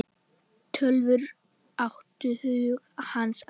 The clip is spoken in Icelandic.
Tölvur áttu hug hans allan.